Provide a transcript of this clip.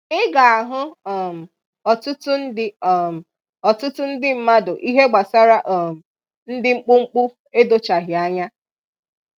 Ị ga-ahụ um ọtụtụ ndị um ọtụtụ ndị mmadụ ihe gbasara um ndị mkpụmkpụ edochaghị anya.